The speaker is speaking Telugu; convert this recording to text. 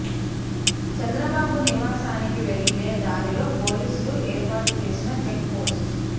చంద్రబాబు నివాసానికి వెళ్లే దారిలో పోలీసులు ఏర్పాటు చేసిన చెక్ పోస్టు